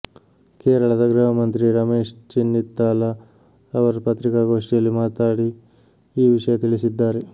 ಕೇರಳದ ಗೃಹಮಂತ್ರಿ ರಮೇಶ್ ಚೆನ್ನಿತ್ತಾಲ ಅವರು ಪತ್ರಿಕಾಗೋಷ್ಠಿಯಲ್ಲಿ ಮಾತಾಡಿ ಈ ವಿಷಯ ತಿಳಿಸಿದ್ದಾರೆ